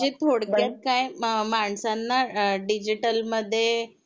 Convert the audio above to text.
म्हणजे थोडक्यात काय मा माणसांना डिजिटल मध्ये अ जे हे होतात ना म्हणजे मनी ट्रान्सिकशन त्याचा त्याचा मध्ये आणलंय जे